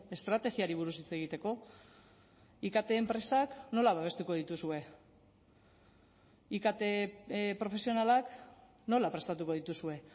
estrategiari buruz hitz egiteko ikt enpresak nola babestuko dituzue ikt profesionalak nola prestatuko dituzue